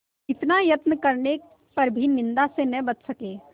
इतना यत्न करने पर भी निंदा से न बच सके